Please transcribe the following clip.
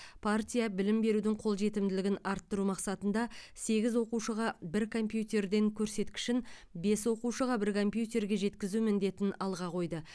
партия білім берудің қолжетімділігін арттыру мақсатында сегіз оқушыға бір компьютерден көрсеткішін бес оқушыға бір компьютерге жеткізу міндетін алға қойды